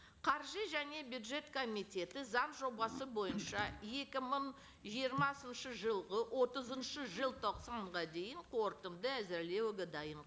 қаржы және бюджет комитеті заң жобасы бойынша екі мың жиырмасыншы жылғы отызыншы желтоқсанға дейін қорытынды әзірлеуге дайын